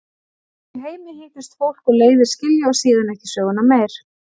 Úti í heimi hittist fólk og leiðir skilja og síðan ekki söguna meir.